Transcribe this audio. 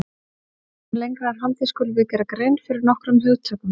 Áður en lengra er haldið skulum við gera grein fyrir nokkrum hugtökum.